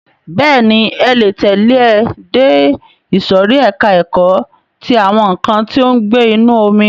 Bẹ́ẹ̀ni, ẹ le tẹ̀lẹ́ ẹ dé ìsòrí ẹka ẹ̀kọ́ ti àwọn nǹkan tí ó ń gbé inú omi.